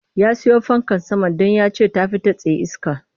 Ya siyo fankar sama don ya ce ta fi ta tsaye iske